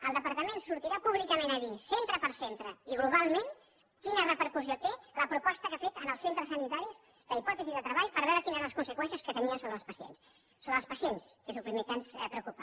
el departament sortirà públicament a dir centre per centre i globalment quina repercussió té la proposta que ha fet als centres sanitaris la hipòtesi de treball per veure quines eren les conseqüències que tenia sobre els pacients sobre els pacients que és el primer que ens preocupa